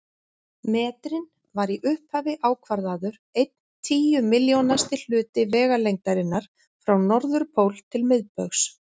Metrinn var í upphafi ákvarðaður einn tíu milljónasti hluti vegalengdarinnar frá norðurpól til miðbaugs.